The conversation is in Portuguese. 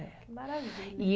Eh. Que maravilha.